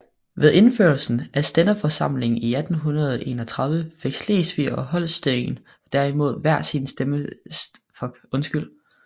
Ved indførelsen af stænderforsamlinger i 1831 fik Slesvig og Holsten derimod hver sin stænderforsamling